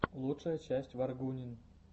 лучшая часть варгунин